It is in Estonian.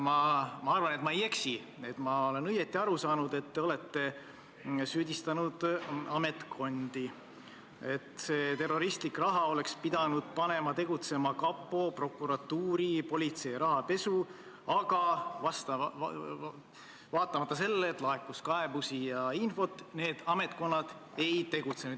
Ma arvan, et ma ei eksi ja ma olen õigesti aru saanud, et te olete süüdistanud ametkondi, sest see terroristlik raha oleks pidanud panema tegutsema kapo, prokuratuuri, politsei rahapesu andmebüroo, aga vaatamata sellele, et laekus kaebusi ja infot, need ametkonnad ei tegutsenud.